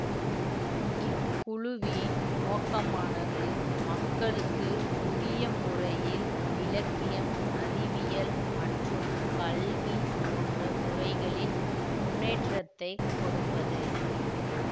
இக்குழுவின் நோக்கமானது மக்களுக்கு உரிய முறையில் இலக்கியம் அறிவியல் மற்றும் கல்வி போன்ற துறைகளில் முன்னேற்றத்தை கொடுப்பது